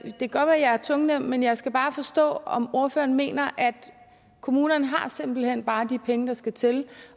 kan godt være jeg er tungnem men jeg skal bare forstå om ordføreren mener at kommunerne simpelt hen bare har de penge der skal til